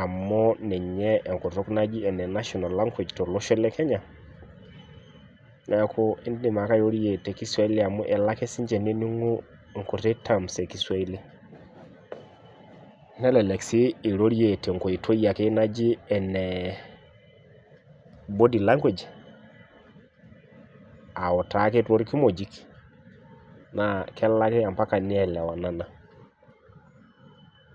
amu ninye enkutuk naji enenational language tolosho lekenya , neeku indim ake airorie tekiswaili amu elo ake sinche neeningu nkuti terms ekiswaili nelelek sii irorie tenkoitoi ake naji naji enebody language autaa ake torkimojik naa kelo ake amapaka nielewanana.